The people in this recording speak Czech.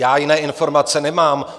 Já jiné informace nemám.